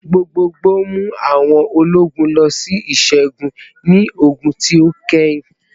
Gbogboogbo mu awọn ologun lọ si iṣẹgun ni ogun ti o kẹhin